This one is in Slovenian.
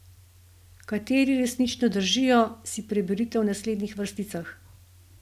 Kateri resnično držijo, si preberite v naslednjih vrsticah.